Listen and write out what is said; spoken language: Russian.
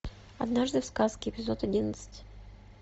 однажды в сказке эпизод одиннадцать